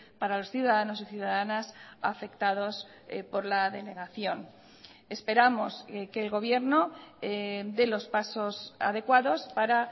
para los ciudadanos y ciudadanas afectados por la denegación esperamos que el gobierno dé los pasos adecuados para